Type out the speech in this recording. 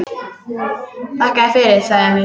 Þakka þér fyrir, sagði Emil.